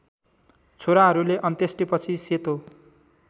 छोराहरूले अन्त्येष्टिपछि सेतो